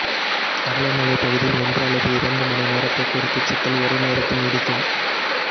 தவளை மலை பகுதியில் ஒன்று அல்லது இரண்டு மணி நேரப் போக்குவரத்துச் சிக்கல் ஒரே நேரத்தில் நீடிக்கும்